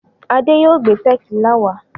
Adé yóò gbé tẹ̀kílà wá.